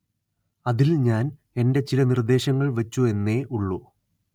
അതില്‍ ഞാന്‍ എന്റെ ചില നിര്‍ദ്ദേശങ്ങള്‍ വച്ചു എന്നേ ഉള്ളൂ